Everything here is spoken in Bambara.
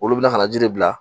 Olu bɛna kana ji de bila